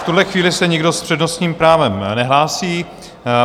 V tuhle chvíli se nikdo s přednostním právem nehlásí.